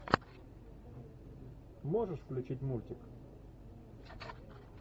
можешь включить мультик